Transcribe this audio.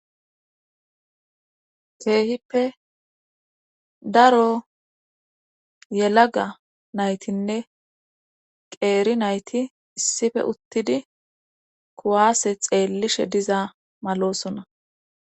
keehippe daro yelaga naytinne qeeri nayti issife uttidi kuwaase xeellishe diza malosona